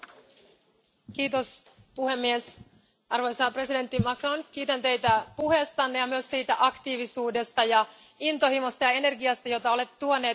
Arvoisa puhemies, arvoisa presidentti Macron, kiitän Teitä puheestanne ja myös siitä aktiivisuudesta, intohimosta ja energiasta, jota olette tuoneet Eurooppa keskusteluun.